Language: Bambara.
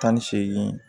Tan ni seegin